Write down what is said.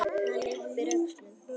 Hann yppir öxlum.